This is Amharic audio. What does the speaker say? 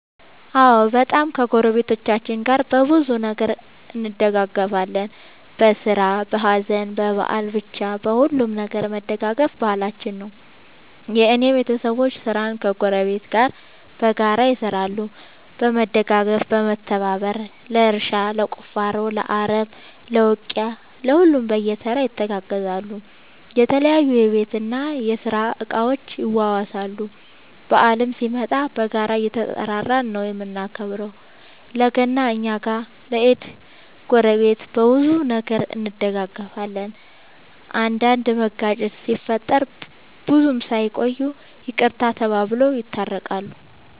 አዎ በጣም ከ ጎረቤቶቻችን ጋር በብዙ ነገር እንደጋገፋለን በስራ በሀዘን በበአል በቻ በሁሉም ነገር መደጋገፍ ባህላችን ነው። የእኔ ቤተሰቦቼ ስራን ከ ጎረቤት ጋር በጋራ ይሰራሉ በመደጋገፍ በመተባበር ለእርሻ ለቁፋሮ ለአረም ለ ውቂያ ለሁሉም በየተራ ይተጋገዛሉ የተለያዩ የቤት እና የስራ እቃ ይዋዋሳሉ። በአልም ሲመጣ በጋራ እየተጠራራን ነው የምናከብረው ለ ገና እኛ ጋ ለ ኢድ ጎረቤት። በብዙ ነገር እንደጋገፋለን። አንዳንድ መጋጨት ሲፈጠር ብዙም ሳይቆዩ ይቅርታ ተባብለው የታረቃሉ።